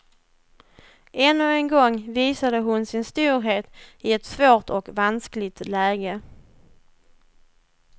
Ännu en gång visade hon sin storhet i ett svårt och vanskligt läge.